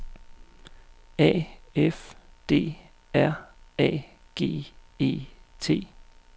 A F D R A G E T